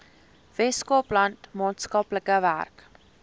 weskaapland maatskaplike werk